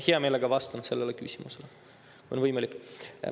Hea meelega vastan sellele küsimusele, kui on võimalik.